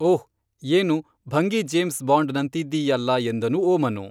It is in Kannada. ಓಹ್ ಏನು ಭಂಗಿಜೇಮ್ಸ್ ಬಾಂಡ್‌ನಂತಿದ್ದೀಯಲ್ಲಾ ಎಂದನು ಓಮನು